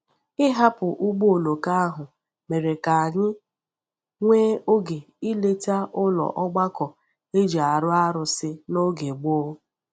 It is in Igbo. Ịhapụ ụgbọ oloko ahụ mere ka anyị nwee oge ileta ụlọ ogbako e ji arụ arụsị n’oge gboo.